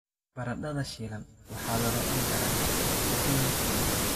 Baradhada shiilan waxaa lagu cuni karaa ukun la karkariyey.